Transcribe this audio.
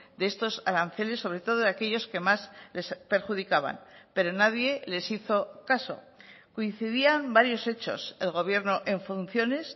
de estos aranceles sobre todo de aquellos que más les perjudicaban pero nadie les hizo caso coincidían varios hechos el gobierno en funciones